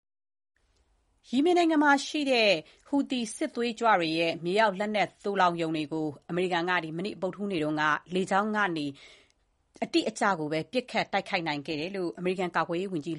ယီမင်နိုင်ငံမှာရှိနေတဲ့ ဟူသီစစ်သွေးကြွတွေရဲ့ မြေအောက် လက်နက်သိုလောင်ရုံတွေကို အမေရိကန်တပ်ဖွဲ့တွေက ဗုဒ္ဓဟူးနေ့က လေကြောင်းကနေ အတိအကျ ပစ်ခတ်တိုက်ခိုက်ခဲ့တယ်လို့ အမေရိကန် ကာကွယ်ရေးဝန်ကြီး